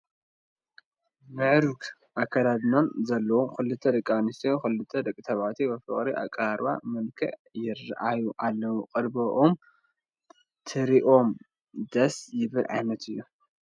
ምዕሩግ ኣከዳድና ዘለዎም ክልተ ደቂ ኣንስትዮን ክልተ ደቂ ተባዕትዮን ብፍቕራዊ ቅርርብ መልክዕ ይርአዩ ኣለዉ፡፡ ቅርርቦምን ትርኢቶም ደስ ዝብል ዓይነት እዩ፡፡